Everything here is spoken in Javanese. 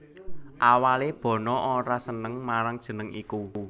Awalé Bono ora seneng marang jeneng iku